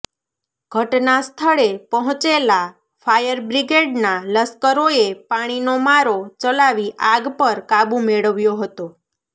ઘટના સ્થળે પહોંચેલા ફાયર બ્રીગેડના લાશ્કરોએ પાણીનો મારો ચલાવી આગ પર કાબુ મેળવ્યો હતો